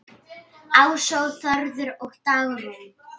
Ása, Þórður og Dagrún.